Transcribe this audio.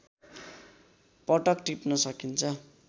पटक टिप्न सकिन्छ